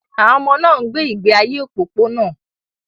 Àwọn ọmọ náà ń gbé ìgbé ayé òpópónà.